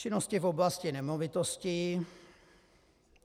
Činnosti v oblasti nemovitostí.